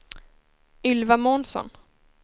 Ylva Månsson